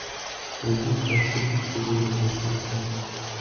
найди джа халиб сегодня я нашел тебя